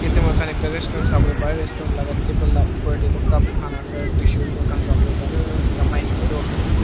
tey moihan ekta resturant sabole pare restaurant la tabel la upor tey cup khan ase aro tissue beh moihan sabo le pare ato ekta maki tu blac--